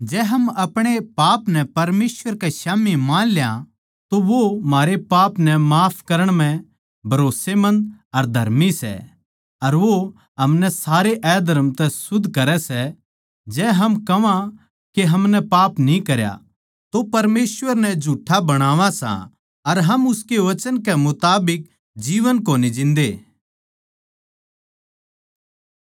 जै हम कुह्वा के हमनै पाप न्ही करया तो परमेसवर नै झूठा बणावा सां अर हम उसके वचन के मुताबिक जीवन कोनी जिन्दे